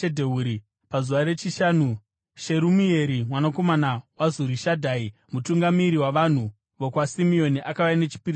Pazuva rechishanu, Sherumieri mwanakomana waZurishadhai, mutungamiri wavanhu vokwaSimeoni akauya nechipiriso chake.